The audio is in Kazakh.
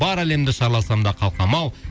бар әлемді шарласам да қалқам ау